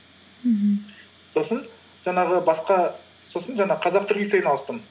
мхм сосын жаңағы қазақ түрік лицейіне ауыстым